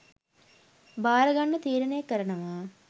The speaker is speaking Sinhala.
භාරගන්න තීරණය කරනවා